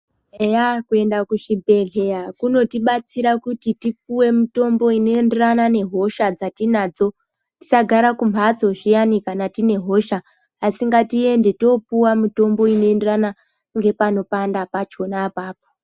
Eya kuenda kuchibhedhleya kunotibatsira kuti tipuwe mutombo inoenderana nehosha dzatinadzo tisagara kumbatso zviyani kana tine hosha asi ngatiende topuwe mitombo inoenderana ngepanopanda pachona apapo.